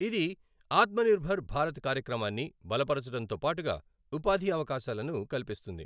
ఇది ఆత్మనిర్భర్ భారత్ కార్యక్రమాన్ని బలపరచడంతో పాటుగా ఉపాధి అవకాశాలను కల్పిస్తుంది.